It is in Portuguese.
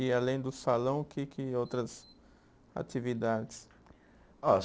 E além do salão, o que que outras atividades? Ó